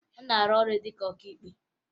Ọ na-arụ ọrụ dị ka onye ọkaikpe